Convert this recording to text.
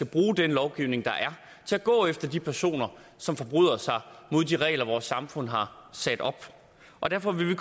bruge den lovgivning der er til at gå efter de personer som forbryder sig mod de regler vores samfund har sat op og derfor vil vi